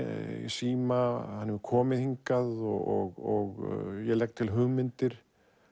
síma hann hefur komið hingað og ég legg til hugmyndir